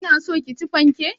Kina so ki ci fanke?